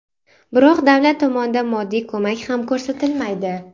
Biroq davlat tomonidan moddiy ko‘mak ham ko‘rsatilmaydi.